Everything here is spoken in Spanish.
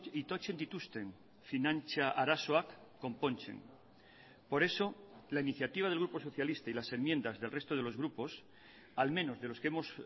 itotzen dituzten finantza arazoak konpontzen por eso la iniciativa del grupo socialista y las enmiendas del resto de los grupos al menos de los que hemos